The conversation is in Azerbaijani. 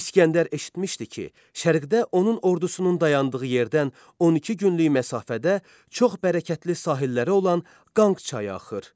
İsgəndər eşitmişdi ki, şərqdə onun ordusunun dayandığı yerdən 12 günlük məsafədə çox bərəkətli sahilləri olan Qanq çayı axır.